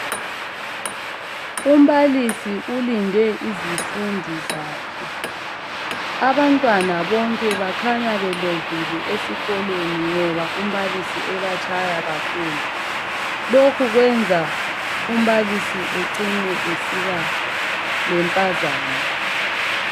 Umbalisi ulinde izindi zakhe, abantwana bonke bakhanya belovile esikolweni ngoba umbalisi ebatshaya kakhulu. Lokhu kwenza umbalisi ecine esiba lempazamo.